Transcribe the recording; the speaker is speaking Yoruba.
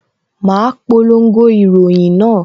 Ma polongo ìròyìn náà